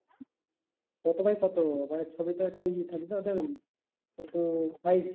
কত by কত মানে ছবির তো একটা এ থাকে তো ওদের কত size?